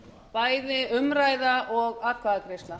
bæði umræða og atkvæðagreiðsla